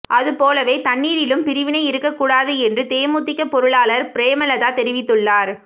அதுபோலவே தண்ணீரிலும் பிரிவினை இருக்க கூடாது என்று தேமுதிக பொருளாளர் பிரேமலதா தெரிவித்துள்ளார்